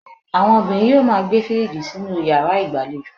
Àwọn obìnrin yóò máa gbé fíríjì sínú yàrá ìgbàlejò.